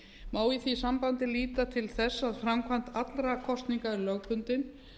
má í því sambandi líta til þess að framkvæmd allra kosninga er lögbundin